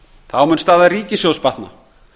þá mun staða ríkissjóðs batna